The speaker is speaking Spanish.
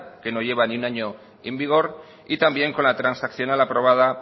que no lleva ni un año en vigor y también con la transaccional aprobada